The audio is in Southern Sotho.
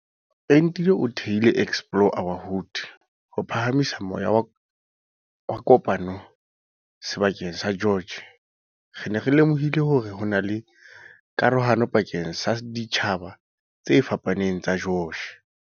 Entile o thehile Explore our Hood ho phaha misa moya wa kopano seba keng sa George. "Re ne re lemohile hore hona le karohano pakeng sa ditjhaba tse fapaneng tsa George."